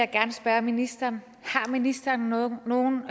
gerne spørge ministeren har ministeren nogle nogle